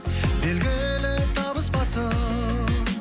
белгілі табыспасым